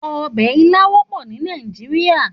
Òbè ilã wòpò ni Nàijiriá